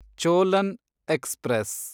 Cholan express